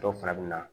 Dɔ fana bɛ na